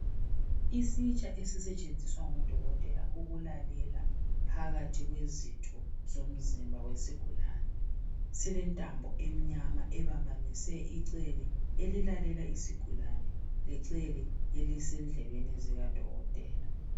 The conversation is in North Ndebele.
Isitsha ezisentshenziswa ngodokotela ukulalela phakathi kwezitho zomzibha wesigulani silentambo eminyama ebambanise icelwe elilalela isigulane lecele elisendlebeni zikadokoteka